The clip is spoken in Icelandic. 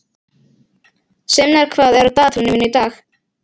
Sveinmar, hvað er á dagatalinu mínu í dag?